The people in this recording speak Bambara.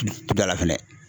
fɛnɛ.